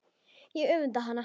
Ég öfunda hana.